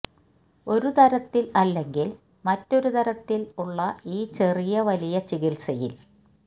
ഒരു തരത്തിൽ അല്ലെങ്കിൽ മറ്റൊരു തരത്തിൽ ഉള്ള ഈ ചെറിയ വലിയ ചികിത്സയിൽ